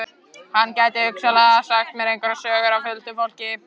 Hún gæti hugsanlega sagt mér einhverjar sögur af huldufólki.